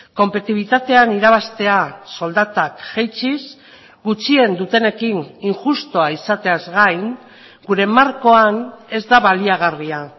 konpetibitatean irabaztea soldatak jaitsiz gutxien dutenekin injustua izateaz gain gure markoan ez da baliagarria